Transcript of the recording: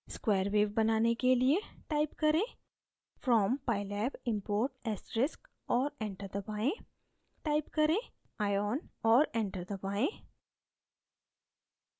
square wave बनाने के लिए type करें: from pylab import * और enter दबाएँ type करें: ion और enter दबाएँ